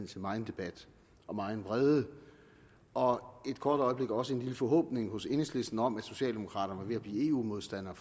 til megen debat og megen vrede og et kort øjeblik også en lille forhåbning hos enhedslisten om at socialdemokraterne var ved at blive eu modstandere